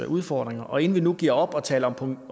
udfordringer og inden vi nu giver op og taler om